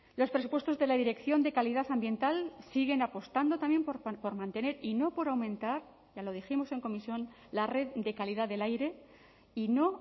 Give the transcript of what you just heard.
los presupuestos de la dirección de calidad ambiental siguen apostando también por mantener y no por aumentar ya lo dijimos en comisión la red de calidad del aire y no